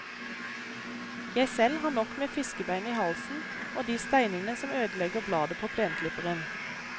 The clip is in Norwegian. Jeg selv har nok med fiskebein i halsen og de steinene som ødelegger bladet på plenklipperen.